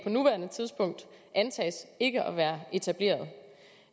nuværende tidspunkt antages ikke at være etableret